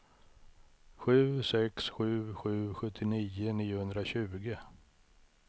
sju sex sju sju sjuttionio niohundratjugo